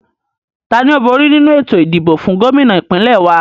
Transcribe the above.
Tani ó bóri nínu ètò ìdìbò fún Gómìnà ìpínlẹ̀ wa?